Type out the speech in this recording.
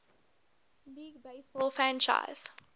league baseball franchise